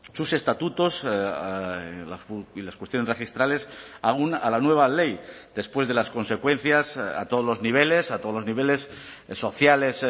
sus estatutos y las cuestiones registrales aun a la nueva ley después de las consecuencias a todos los niveles a todos los niveles sociales